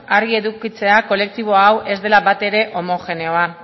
argi edukitzea kolektibo hau ez dela batere homogeneoa